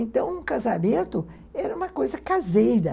Então, o casamento era uma coisa caseira.